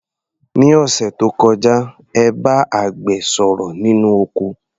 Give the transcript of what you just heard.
Ní òṣẹ̀ tó kọjá, ẹ bá àgbẹ̀ sọ̀rọ̀ nínú oko.